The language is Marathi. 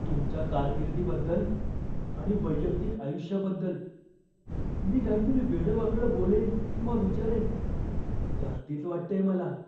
तुमच्या कारकिर्दीबद्दल आणि वैयक्तिक आयुष्याबद्दल मी काहीतरी वेडावाकडं बोलेन किंवा विचारेन ही धास्तीच वाटतेय मला.